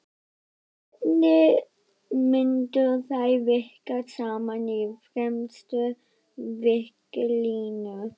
Hvernig myndu þeir virka saman í fremstu víglínu?